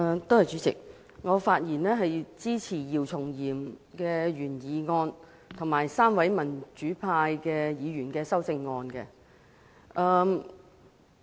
代理主席，我發言支持姚松炎議員的原議案，以及3位民主派議員的修正案。